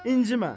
İncimə.